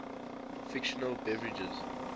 fictional beverages